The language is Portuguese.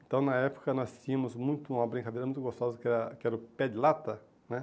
Então, na época, nós tínhamos muito uma brincadeira muito gostosa, que era que era o pé de lata, né?